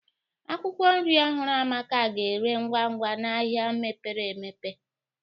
Akwụkwọ nri ọhụrụ Amaka ga-ere ngwa ngwa n'ahịa mepere emepe